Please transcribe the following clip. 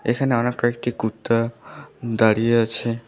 এখানে অনেক কয়েকটি কুত্তা দাঁড়িয়ে আছে।